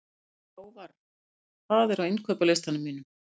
Hávarr, hvað er á innkaupalistanum mínum?